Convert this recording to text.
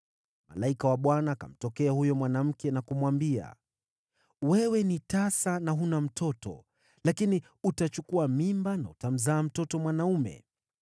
Malaika wa Bwana akamtokea huyo mwanamke na kumwambia, “Wewe ni tasa na huna mtoto, lakini utachukua mimba na utamzaa mtoto mwanaume.